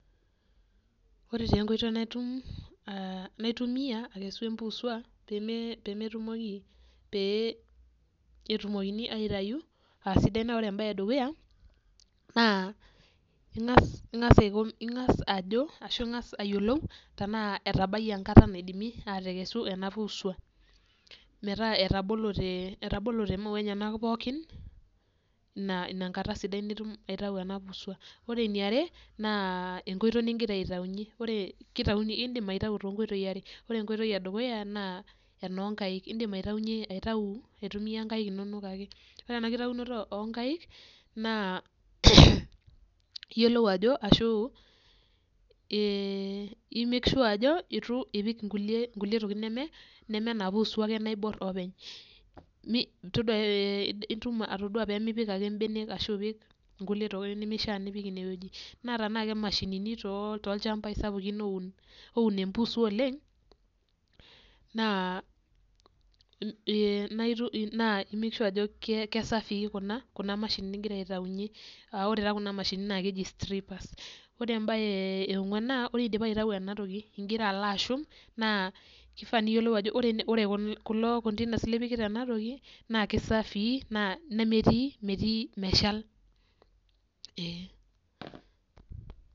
Ore tenkoitoi naitum uh naitumia akesu empusua peme pemetumoki pee etumokini aitayu asidai naore embaye edukuya naa ing'as ing'as aiko ing'as ajo ashu ing'as ayiolou tanaa etabayie enkata naidimi atekesu ena puusua metaa etabolote etabolote imaua enyenak pookin naa ina enkata sidai nitum aitau ena puusua ore eniare naa enkoitoi ningira aitaunyie ore kitauni indim aitau tonkoitoi are ore enkoitoi edukuya naa enonkaik indim aitaunyie aitau aitumia inkaik inonok ake ore ena kitaunoto onkaik naa iyiolou ajo ashu eh i make sure ajo etu ipik inkulie tokitin neme neme ena puusua ake naiborrr openy mi todua eh itum atodua peemipik ake imbenek ashu ipik inkulie tokitin nemishia nipik inewueji naa tanaa ke mashinini too tolchambai sapukin oun oun empuusua oleng naa im naaitu naa i make sure ajo ke safii kuna kuna mashinini ingira aitaunyie aore taa kuna mashinini naa keji strippers ore embaye eong'uan naa ore indipa aitau enatoki ingira alo ashum naa kifaa niyiolou ajo ore kun kulo containers lipikita enatoki naa kisafii naa nemetii metii meshal eh.